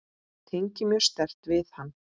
Tengi mjög sterkt við hann.